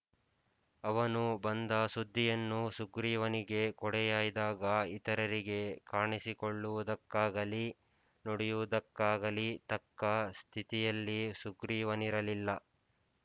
ಅವನು ಬಂದ ಸುದ್ದಿಯನ್ನು ಸುಗ್ರೀವನಿಗೆ ಕೊಡೆ ಯಾಯ್ದಾಗ ಇತರರಿಗೆ ಕಾಣಿಸಿಕೊಳ್ಳುವುದಕ್ಕಾಗಲಿ ನುಡಿಯುವುದಕ್ಕಾಗಲಿ ತಕ್ಕ ಸ್ಥಿತಿಯಲ್ಲಿ ಸುಗ್ರೀವನಿರಲಿಲ್ಲ